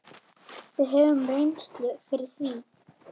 Við höfum reynslu fyrir því.